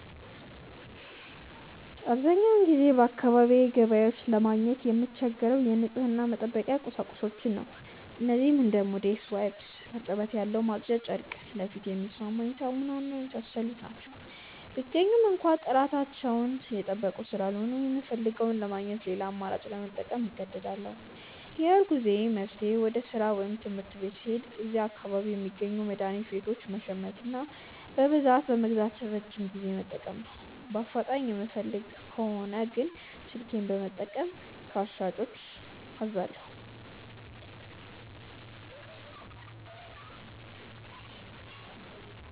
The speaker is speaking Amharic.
አብዛኛውን ጊዜ በአካባቢዬ ገበያዎች ለማግኘት የምቸገረው የንጽህና መጠበቂያ ቁሳቁሶችን ነው። እነዚህም እንደ ሞዴስ፣ ዋይፕስ (እርጥበት ያለው ማጽጃ ጨርቅ)፣ ለፊቴ የሚስማማኝ ሳሙና እና የመሳሰሉት ናቸው። ቢገኙም እንኳ ጥራታቸውን የጠበቁ ስላልሆኑ፣ የምፈልገውን ለማግኘት ሌላ አማራጭ ለመጠቀም እገደዳለሁ። የሁልጊዜም መፍትሄዬ ወደ ሥራ ወይም ትምህርት ቤት ስሄድ እዚያ አካባቢ ከሚገኙ መድኃኒት ቤቶች መሸመትና በብዛት በመግዛት ለረጅም ጊዜ መጠቀም ነው። በአፋጣኝ የምፈልግ ከሆነ ግን ስልኬን በመጠቀም ከሻጮች አዛለሁ።